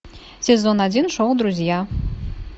сезон один шоу друзья